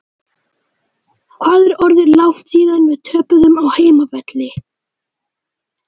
Hvað er orðið langt síðan við töpuðum á heimavelli?